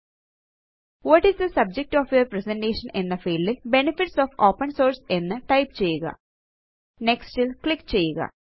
what is the subject of your presentation എന്ന ഫീൽഡിൽ benefits of open source എന്ന് type ചെയ്യുക നെക്സ്റ്റ് ൽ ക്ലിക്ക് ചെയ്യുക